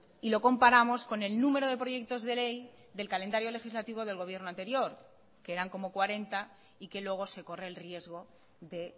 y lo comparamos con el número de proyectos de ley del calendario legislativo del gobierno anterior que eran como cuarenta y que luego se corre el riesgo de